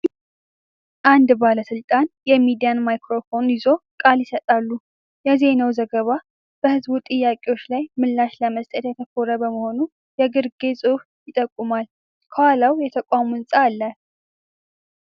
አንድ ባለስልጣን የሚዲያ ማይክሮፎን ይዘው ቃል ይሰጣሉ። የዜናው ዘገባ በሕዝብ ጥያቄዎች ላይ ምላሽ ለመስጠት ያተኮረ መሆኑን የግርጌ ጽሑፍ ይጠቁማል። ከኋላው የተቋም ህንጻ አለ።